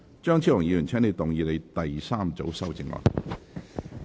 張超雄議員，請動議你的第三組修正案。